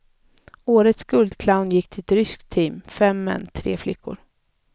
Årets guldclown gick till ett ryskt team, fem män, tre flickor.